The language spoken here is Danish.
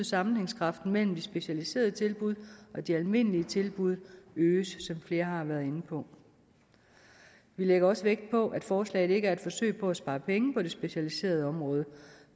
sammenhængskraften mellem de specialiserede tilbud og de almindelige tilbud øges flere har været inde på vi lægger også vægt på at forslaget ikke er et forsøg på at spare penge på det specialiserede område